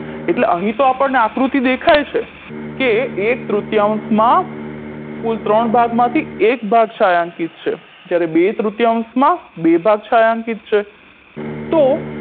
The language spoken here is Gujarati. એટલે અહીં તો આપણને આકૃતિ દેખાય છે કે એક તૃતીયાંશમાં કુલ ત્રણ ભાગમાંથી એક ભાગ છાંયાંકીત છે જ્યારે બે તૃતીયાંશમાં બે ભાગ છાંયાંકીત છે તો